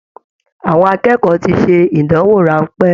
Àwọn akẹ́kọ̀ọ́ tí ṣe ìdánwò ránpẹ́.